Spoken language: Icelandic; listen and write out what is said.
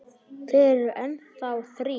Þeir eru enn þá þrír.